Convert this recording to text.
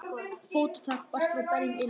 Fótatak barst frá berum iljum.